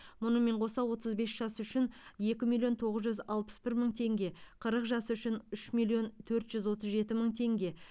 мұнымен қоса отыз бес жас үшін екі миллион тоғыз жүз алпыс бір мың теңге қырық жас үшін үш миллион төрт жүз отыз жеті мың теңге